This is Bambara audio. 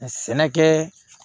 Sɛnɛkɛ